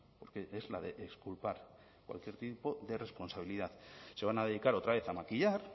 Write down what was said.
porque es la de exculpar cualquier tipo de responsabilidad se van a dedicar otra vez a maquillar